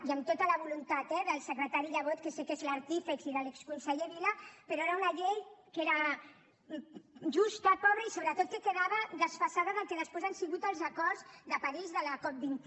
i amb tota la voluntat eh del secretari llebot que sé que n’és l’artífex i de l’exconseller vila però era una llei que era justa pobra i sobretot que quedava desfasada del que després han sigut els acords de parís de la cop vint un